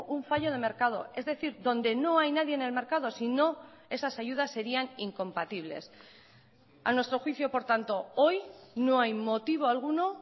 un fallo de mercado es decir donde no hay nadie en el mercado sino esas ayudas serían incompatibles a nuestro juicio por tanto hoy no hay motivo alguno